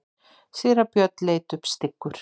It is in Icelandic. Síra Björn leit upp styggur.